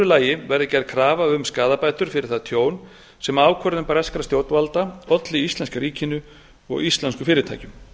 lagi verði gerð krafa um skaðabætur fyrir það tjón sem ákvörðun breskra stjórnvalda olli íslenska ríkinu og íslenskum fyrirtækjum